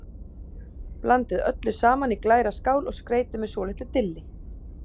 Blandið öllu saman í glæra skál og skreytið með svolitlu dilli.